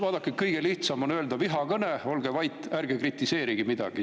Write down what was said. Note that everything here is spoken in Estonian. Vaadake, kõige lihtsam on öelda, vihakõne, olge vait, ärge kritiseerige midagi.